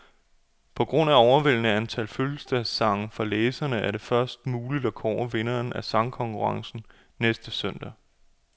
På grund af overvældende antal fødselsdagssange fra læserne, er det først muligt at kåre vinderne af sangkonkurrencen næste søndag.